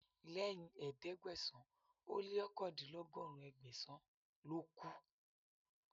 Lẹ́yìn ẹ̀ẹ́dẹ́gbẹ̀sán ó lé òkàndínlọ́gọ́rùn, Ẹgbẹ̀sàn ló kù